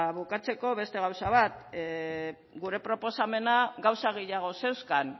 bukatzeko beste gauza bat gure proposamena gauza gehiago zeuzkan